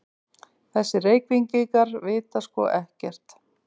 Þessir Reykvíkingar vita sko ekkert!